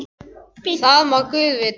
Það má guð vita.